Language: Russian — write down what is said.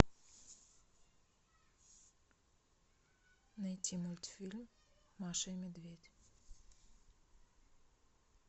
найти мультфильм маша и медведь